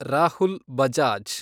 Rahul Bajaj